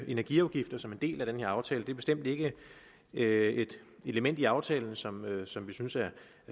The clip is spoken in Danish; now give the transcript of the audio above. energiafgifter som en del af den her aftale bestemt ikke er et element i aftalen som som vi synes er